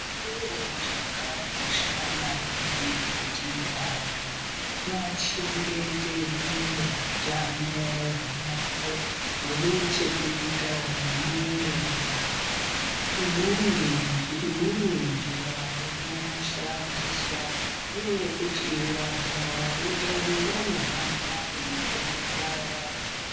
Chiro chakakosha maningi kuti vantu vachengetedze hutano hune chekuita nemwiri yavo umweni njira inoshandiswa ngeye kuti vantu vehutano vanohamba veifundisa vantu.